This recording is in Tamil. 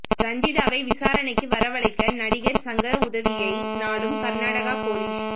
ரஞ்சிதாவை விசாரணைக்கு வரவழைக்க நடிகர் சங்க உதவியை நாடும் கர்நாடக போலீஸ்